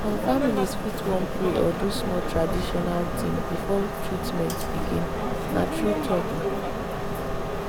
some families fit wan pray or do small traditional thing before treatment begin—na true talk.